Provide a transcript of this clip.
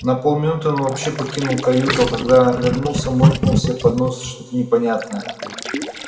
на полминуты он вообще покинул каюту а когда вернулся муркнул себе под нос что-то непонятное